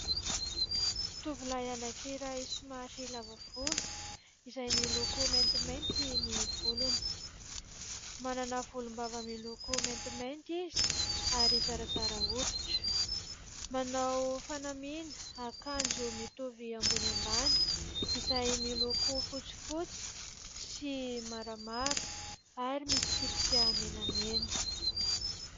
Tovolahy anankiray somary lava volo izay miloko maintimainty ny volony, manana volom-bava miloko maintimainty izy ary zarazara hoditra, manao fanamiana akanjo mitovy ambony ambany izay miloko fotsifotsy sy maramara ary misy tsipika menamena.